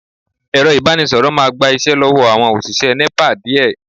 Ẹ̀rọ ìbánisọ̀rọ̀ máa gba iṣẹ́ lọ́wọ́ àwọn òṣìṣẹ́ Nepa díẹ̀